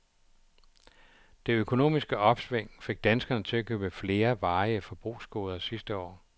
Det økonomiske opsving fik danskerne til at købe flere varige forbrugsgoder sidste år.